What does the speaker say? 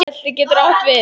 Belti getur átt við